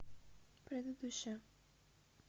предыдущая